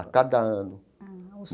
a cada ano.